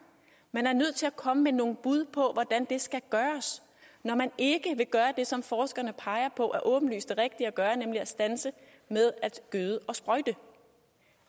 man er nødt til at komme med nogle bud på hvordan det skal gøres når man ikke vil gøre det som forskerne peger på er det åbenlyst rigtige at gøre nemlig at stoppe med at gøde og sprøjte